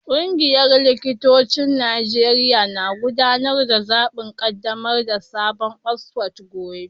Kungiyar likitocin Najeriya na gudanar da zaben kaddamar da sabon exco gobe